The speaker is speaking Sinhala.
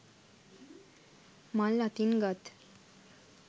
මල් අතින් ගත්